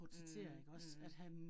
Mh mh